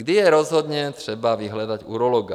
Kdy je rozhodně třeba vyhledat urologa?